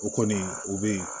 O kɔni u be yen